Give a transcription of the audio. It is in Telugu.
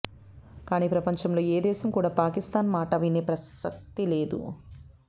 కానీ ప్రపంచంలో ఏ దేశం కూడా పాకిస్థాన్ మాట వినే పరిస్థితి లేదు